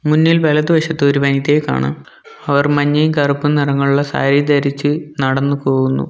മുന്നിൽ വലതുവശത്ത് ഒരു വനിതയെ കാണാം അവർ മഞ്ഞയും കറുപ്പും നിറങ്ങളുള്ള സാരി ധരിച്ച് നടന്ന് പോവുന്നു.